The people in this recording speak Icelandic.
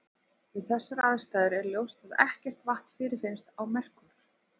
Við þessar aðstæður er ljóst að ekkert vatn fyrirfinnst á Merkúr.